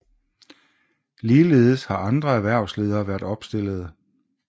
Ligeledes har andre erhvervsledere været opstillede